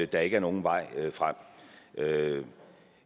der ikke er nogen vej frem